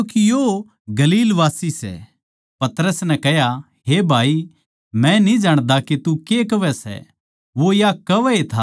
पतरस नै कह्या हे भाई मै न्ही जाण्दा के तू के कहवै सै वो या कहवैए था के मुर्गे नै बाँग देई